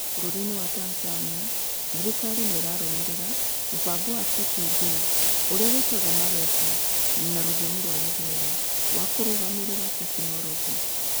Bũrũri-inĩ wa Tanzania, thirikari nĩ ĩrarũmĩrĩra mũbango wa TPD (ũrĩa wĩtagwo MEWAKA na rũthiomi rwa Gĩthwaĩri) wa kũrũgamĩrĩra tekinoronjĩ.